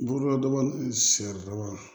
Buruladaba ni saridaba